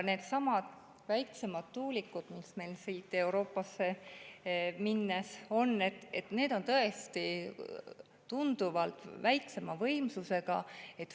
Needsamad väiksemad tuulikud, mida me Euroopasse minnes, on tõesti tunduvalt väiksema võimsusega.